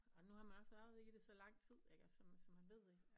Og nu har man også været i det så lang tid ik så så man ved